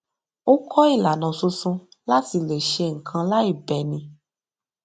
ó kó ìlànà tuntun láti le ṣe nkan láì bẹni